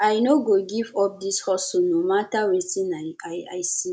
i no go give up dis hustle no mata wetin i i see